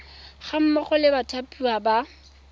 ga mmogo le bathapiwa ba